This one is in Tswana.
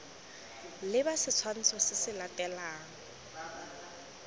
leba setshwantsho se se latelang